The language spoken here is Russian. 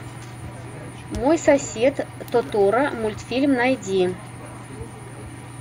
мой сосед тоторо мультфильм найди